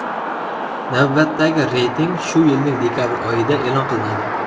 Navbatdagi reyting shu yilning dekabr oyida e’lon qilinadi.